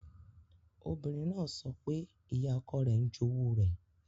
Obìnrin náà sọ pé ìyá ọkọ rẹ̀ ń jowú rẹ̀.